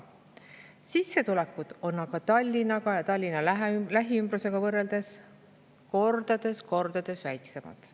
Sissetulekud on aga Tallinna ja Tallinna lähiümbrusega võrreldes kordades väiksemad.